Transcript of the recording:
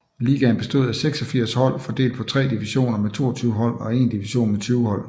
Ligaen bestod af 86 hold fordelt på tre divisioner med 22 hold og én division med 20 hold